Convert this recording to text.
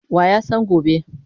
Wa ya san gobe?